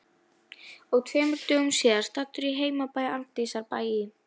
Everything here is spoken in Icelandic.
Og tveimur dögum síðar, staddur á heimabæ Arndísar, Bæ í